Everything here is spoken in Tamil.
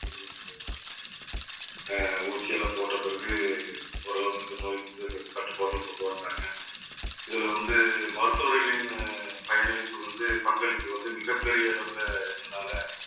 அஹ் ஊசி எல்லாம் போட்ட பிறகு ஓரளவுக்கு இந்த நோய் வந்து கட்டுப்பாட்டில் கொண்டு வந்தாங்க. இதுல வந்து மருத்துவர்களின் பயனளிப்பு வந்து பங்களிப்பு வந்து மிகப்பெரிய அளவுலஇருந்துதானால